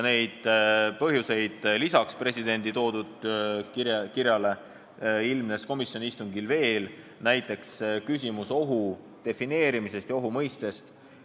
Lisaks presidendi kirjas toodule ilmnes neid põhjusi komisjoni istungil veel, näiteks ohu defineerimise ja ohu mõiste küsimus.